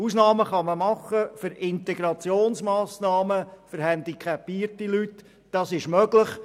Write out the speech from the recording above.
Ausnahmen für Integrationsmassnahmen für handicapierte Leute sind möglich.